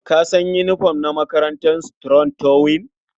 Ka san yinifom na makarantar Strong tower?